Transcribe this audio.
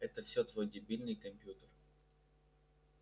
это всё твой дебильный компьютер